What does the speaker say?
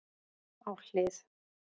Á hlið